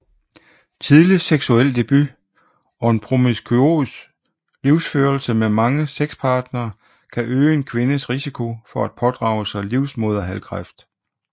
Tidlig seksuel debut og en promiskuøs livsførelse med mange sexpartnere kan øge en kvindes risiko for at pådrage sig livmoderhalskræft